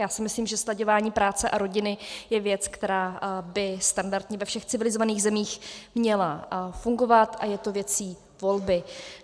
Já si myslím, že slaďování práce a rodiny je věc, která by standardně ve všech civilizovaných zemích měla fungovat, a je to věcí volby.